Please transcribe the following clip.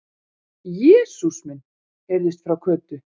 Jesús minn! heyrðist frá Kötu.